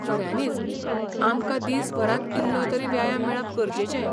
खऱ्यानींच, आमकां दिसभरांत इल्लोतरी व्यायाम मेळप गरजेचें.